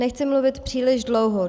Nechci mluvit příliš dlouho.